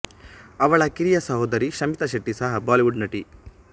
ಅವಳ ಕಿರಿಯ ಸಹೋದರಿ ಶಮಿತಾ ಶೆಟ್ಟಿ ಸಹ ಬಾಲಿವುಡ್ ನಟಿ